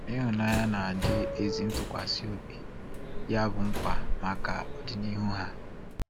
Ihụnanya na ịdị ezi ntụkwasị obi Ya bụ nkwa maka ọdịnihu ha.